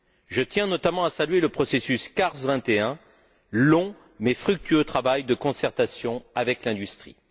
Je tiens notamment à saluer le processus CARS 21, long mais fructueux travail de concertation avec l'industrie.